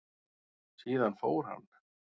Síðan fór hann.